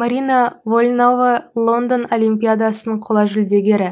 марина вольнова лондон олимпиадасының қола жүлдегері